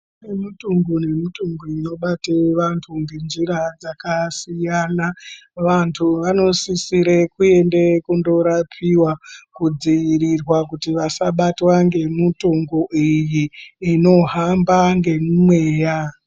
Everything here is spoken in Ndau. Kune mitongo nemitongo inobate vanthu ngenjira dzakasiyana vanthu vanosisire kuende korapiwa kudziirirwa kuti vasabatwa ngemitongo iyi inohamba ngemumweya.